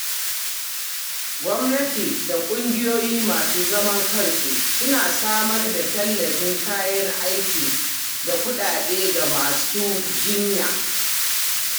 Gwamnati da kungiyoyi masu zaman kansu suna samar da tallafin kayan aiki da kudade ga masu jinya.